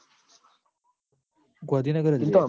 ગૉધીનગર જ રેહ